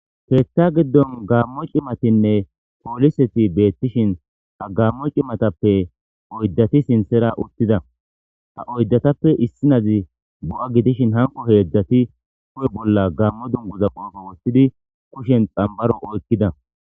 Keethta giddon gaammo cimatinne pooliseti beettishin hagammo cimatappe oyddati sinthera uttida ha oyddatappe issinazi bu7a gidishin hanko heedzdzati ku7e bolla gammo dunguza qoefo wottidi kushen xambaro oykkida.